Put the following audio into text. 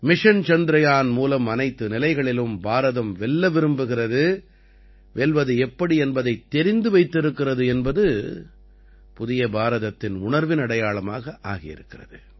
mission Chandrayaan மூலம் அனைத்து நிலைகளிலும் பாரதம் வெல்ல விரும்புகிறது வெல்வது எப்படி என்பதைத் தெரிந்து வைத்திருக்கிறது என்பது புதிய பாரதத்தின் உணர்வின் அடையாளமாக ஆகி இருக்கிறது